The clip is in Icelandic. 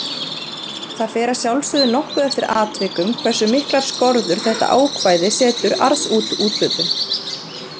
Það fer að sjálfsögðu nokkuð eftir atvikum hversu miklar skorður þetta ákvæði setur arðsúthlutun.